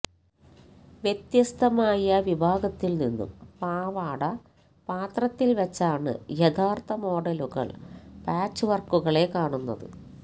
വ്യത്യസ്ത മായ വിഭാഗത്തിൽ നിന്നും പാവാട പാത്രത്തിൽ വെച്ചാണ് യഥാർത്ഥ മോഡലുകൾ പാച്ച് വർക്കുകളെ കാണുന്നത്